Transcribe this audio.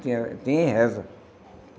Tinha tinha reza.